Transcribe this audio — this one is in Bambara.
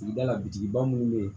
Sigida la bitigiba minnu bɛ yen